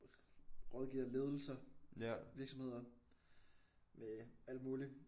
Rådgiver ledelser virksomheder med alt muligt